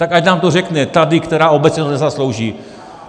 Tak ať nám to řekne tady, která obec si to nezaslouží.